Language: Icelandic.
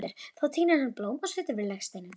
Þá tínir hann blóm og setur við legsteininn.